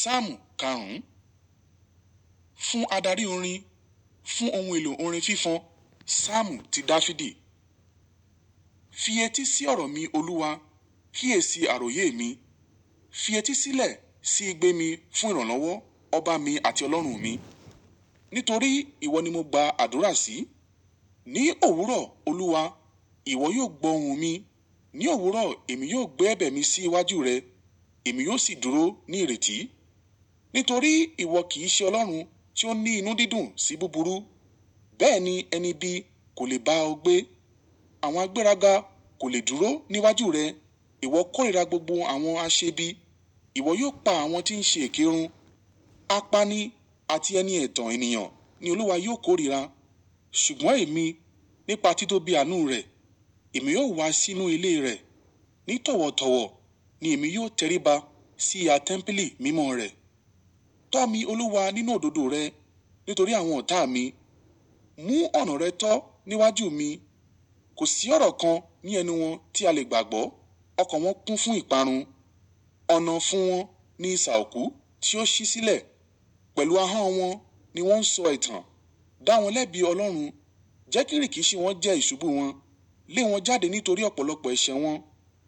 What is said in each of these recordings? Ṣáàmù Kàrún. Fún adarí orin. Fún ohun èlò orin fífọ́n. Ṣáàmù ti Dáfídì. Fi etí sí ọ̀rọ̀ mi, Olúwa, kí é sí àròyé mi. Fi etí sílẹ̀ sí igbé mi fún ìrànlọ́wọ́, ọba mi àti Ọlọ́run mi. Nítorí ìwọ ni mo gba àdúrà sí. Ní òwúrọ̀, Olúwa, ìwọ yóò gbọ́ ohun mi, ní òwúrọ̀, èmi yóò gbé ẹ̀bẹ̀ mi sí iwájú rẹ, èmi yóò sì dúró ní ìrètí. Nítorí ìwọ kì í ṣe Ọlọ́run tí ó ní inú dídùn sí búburú, bẹ́ẹ̀ ni ẹni ibi kò lè bá ọ gbé. Àwọn agbéraga kò lè dúró níwájú rẹ ìwọ kọ́ríra gbogbo àwọn aṣèbí, ìwọ yóò pa àwọn tí ń ṣe èkérun. Apání àti ẹni ètàn ènìyàn ní Olúwa yóò kóríra, ṣùgbọ́n èmi, nípa títóbi àánú rẹ̀, èmi yóò wá sínú ilé rẹ̀, nítọ̀ọ̀wọ̀tọ̀wọ̀ ni èmi yóò tẹríba sí ìyá tẹ́ḿpìlì mímọ́ rẹ̀. Tọ́ mi, Olúwa, nínú òdòdó rẹ̀, nítorí àwọn ọ̀tà mi. Mú ọ̀nà rẹ tọ́ níwájú mi. Kò sí ọ̀rọ̀ kan ní ẹnu wọn tí a lè gbàgbọ́, ọkọ̀ wọn kún fún ìparun. Ọ̀nà fún wọn ni ìṣààokù tí ó ṣí sílẹ̀, pẹ̀lú ahọ́n wọn ni wọ́n ń sọ ẹ̀tàn. Dá wọn lébi Ọlọ́run, jẹ́ kí rìkìṣí wọn jẹ́ iṣubú wọn. Lé wọn jáde nítorí ọ̀pọ̀lọpọ̀ ẹ̀ṣẹ̀ wọn,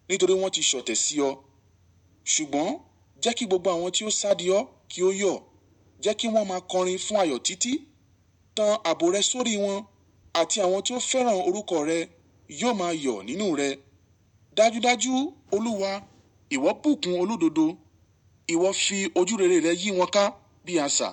nítorí wọ́n ti ṣọ̀tẹ̀ sí ọ. Ṣùgbọ́n jẹ́ kí gbogbo àwọn tí ó sádí ọ kí ó yọ̀, jẹ́ kí wọ́n máa kọrin fún ayọ̀ títí. Tan àbò rẹ sórí wọn àti àwọn tí ó fẹ́ràn orúkọ rẹ yóò máa yọ̀ nínú rẹ̀. Dájudájú, Olúwa, ìwọ bùkún olúdòdó, ìwọ fi ojúrere rẹ̀ yí wọn ká bí aṣà.